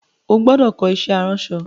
O gbúdọ̀ kọ́ iṣẹ́ aránsọ!